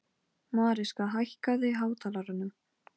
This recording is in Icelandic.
Í sannleika sagt var ég orðin forvitin um sögu hennar.